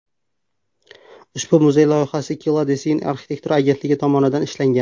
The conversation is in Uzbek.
Ushbu muzey loyihasi Killa Design arxitektura agentligi tomonidan ishlangan.